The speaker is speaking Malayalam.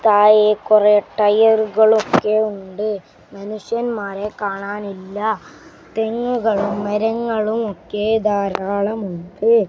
താഴെ കുറേ ടയറുകളൊക്കെ ഉണ്ട് മനുഷ്യൻമാരെ കാണാനില്ല തെങ്ങുകളും മരങ്ങളും ഒക്കെ ധാരാളമുണ്ട്.